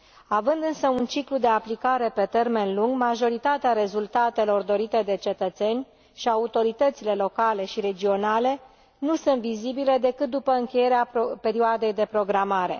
Având însă un ciclu de aplicare pe termen lung, majoritatea rezultatelor dorite de cetățeni și autoritățile locale și regionale nu sunt vizibile decât după încheierea perioadei de programare.